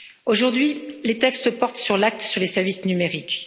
Aujourd'hui, les textes portent sur l'acte sur les services numériques.